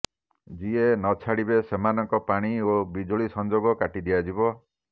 ଯିଏ ନଛାଡିବେ ସେମାନଙ୍କ ପାଣି ଓ ବିଜୁଳି ସଂଯୋଗ କାଟି ଦିଆଯିବ